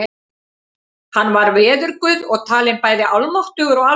Hann var veðurguð og talinn bæði almáttugur og alsjáandi.